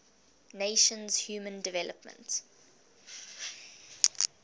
nations human development